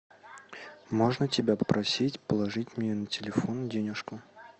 можно тебя попросить положить мне на телефон денежку